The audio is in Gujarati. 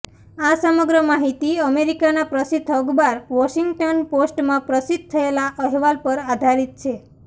આ સમગ્ર માહિતી અમેરિકાના પ્રસિદ્ધ અખબાર વોશિંગ્ટન પોસ્ટમાં પ્રસિદ્ધ થયેલા અહેવાલ પર આધારિત છે